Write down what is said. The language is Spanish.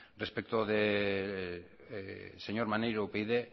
respecto de señor maneiro upyd